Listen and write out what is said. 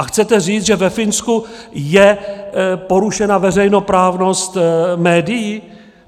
A chcete říct, že ve Finsku je porušena veřejnoprávnost médií?